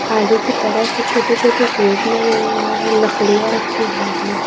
आगे की तरफ छोटे छोटे पेड़ लगे हुए हैं लकड़ियां रखी हुई हैं।